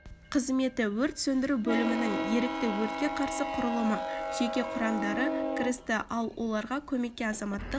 қызметі өрт сөндіру бөлімінің ерікті өртке қарсы құрылымы жеке құрамдары кірісті ал оларға көмекке азаматтық